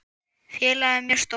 Félagið er mjög stórt.